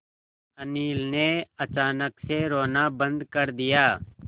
अनिल ने अचानक से रोना बंद कर दिया